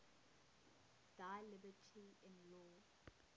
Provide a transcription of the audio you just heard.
thy liberty in law